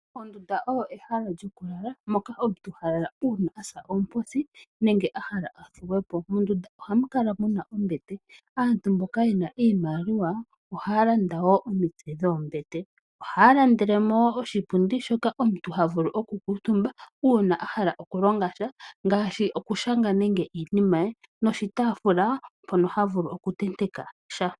Ondunda oyo ehala lyokulala moka omuntu ha lala uuna a sa oomposi nenge a hala a thuwe po. Mondunda ohamu kala mu na ombete. Aantu mboka ye na iimaliwa ohaya landa wo omitse dhoombete. Ohaya landele mo oshipundi hoka omuntu ha vulu okukuutumba uuna a hala okulonga sha ngaashi okushanga nande iinima ye noshitaafula mpono ha vulu okutenteka sha.